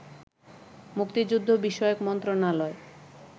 মুক্তিযুদ্ধ বিষয়ক মন্ত্রণালয়